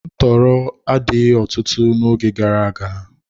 Ntọọrọ adịghị ọtụtụ n'oge gara aga.